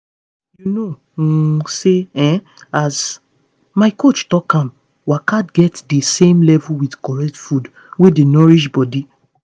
you know um say um as my coach talk am waka get the same level with correct food wey dey nourish body.